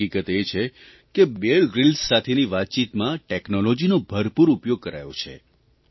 હકીકત એ છે કે બીયર ગ્રીલ્સ સાથેની વાતચીતમાં ટેકનોલોજીનો ભરપૂર ઉપયોગ કરાયો છે